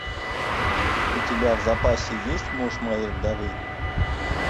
у тебя в запасе есть муж моей вдовы